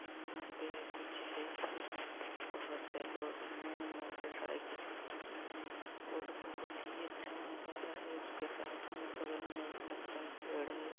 यहाँ पे कुछ बहोत से लोग हैं। मोटरसाइकिल भी टिकी हुई है और बहुत ही अच्छा नज़ारा है। उसके साथ में बगल में एक लगता है पेड़ है।